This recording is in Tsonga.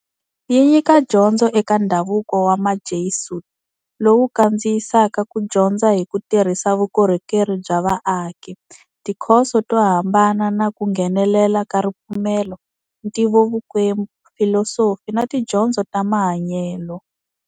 Yi nyika dyondzo eka ndhavuko wa Majesuit, lowu kandziyisaka ku dyondza hi ku tirhisa vukorhokeri bya vaaki, tikhoso to hambana na ku nghenelela ka ripfumelo, ntivovukwembu, filosofi na tidyondzo ta mahanyelo.